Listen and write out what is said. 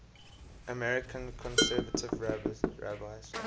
american conservative rabbis